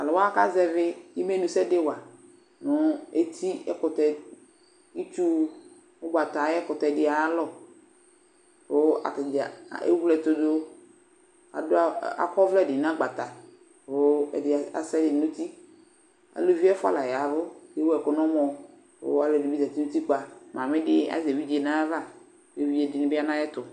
Tʋ alʋ wa kazɛvɩ imenusɛ dɩ wa nʋ etiɛkʋtɛ, itsu, ʋgbata ayʋ ɛkʋtɛ dɩ ayalɔ kʋ ata dza ewle ɛtʋ dʋ Adʋ akɔ ɔvlɛ dɩ nʋ agbata kʋ ɛdɩ asa ɛdɩ nʋ uti Aluvi ɛfʋa la ya ɛvʋ kʋ ewu ɛkʋ nʋ ɔmɔ kʋ alʋɛdɩnɩ bɩ zati nʋ utikpa Mamɩ dɩ azɛ evidze nʋ ayava kʋ evidze dɩnɩ bɩ ya nʋ ayɛtʋ